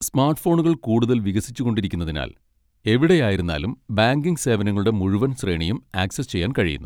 സ്മാർട്ട്ഫോണുകൾ കൂടുതൽ വികസിച്ചുകൊണ്ടിരിക്കുന്നതിനാൽ, എവിടെയായിരുന്നാലും ബാങ്കിംഗ് സേവനങ്ങളുടെ മുഴുവൻ ശ്രേണിയും ആക്സസ് ചെയ്യാൻ കഴിയുന്നു.